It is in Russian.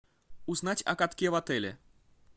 узнать о катке в отеле